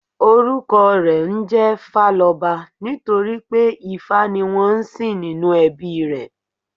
Orúkọ rè ńjé Fáloba nítorí pé Ifá ni wón ń sìn nínú ẹbí i rè